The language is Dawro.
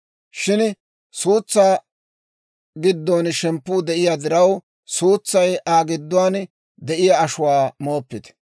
Shin suutsaa giddon shemppuu de'iyaa diraw suutsay Aa gidduwaan de'iyaa ashuwaa mooppite.